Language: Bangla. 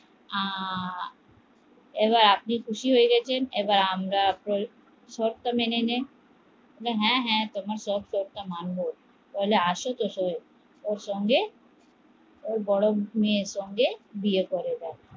এবার আপনি খুশি হয়ে গেছেন এবার আমরা শর্ত মেনে নিন, হ্যাঁ হ্্যাঁ তোমার শর্ত মানব বড়ো মেয়ের সঙ্গে ওর বিয়ে করিয়ে